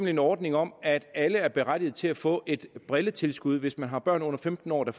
en ordning om at alle er berettigede til at få et brilletilskud hvis man har børn under femten år der